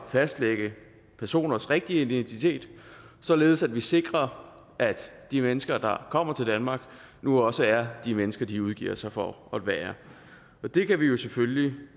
fastlægge personers rigtige identitet således at vi sikrer at de mennesker der kommer til danmark nu også er de mennesker de udgiver sig for at være og det kan vi jo selvfølgelig